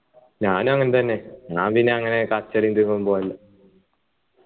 ഞാനും അങ്ങനെത്തന്നെ ഞാൻ പിന്നെ അങ്ങനെ കച്ചറ ഒന്നും പോകലില്ല